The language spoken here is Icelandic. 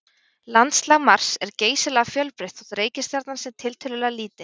Landslag Mars er geysilega fjölbreytt þótt reikistjarnan sé tiltölulega lítil.